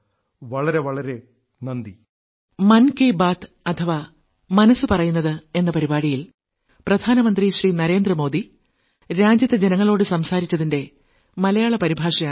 വളരെ വളരെ നന്ദി നന്ദി